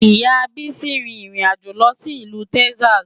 Ìyá Bísí rin ìrìn àjò lọ sí ìlú Texas.